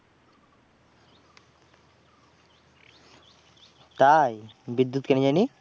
তাই, বিদ্যুৎ কেনে যায়নি?